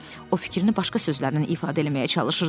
o fikrini başqa sözlərlə ifadə eləməyə çalışırdı.